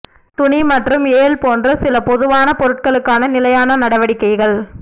துணி மற்றும் ஏல் போன்ற சில பொதுவான பொருட்களுக்கான நிலையான நடவடிக்கைகள்